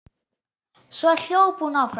Svo hljóp hún áfram.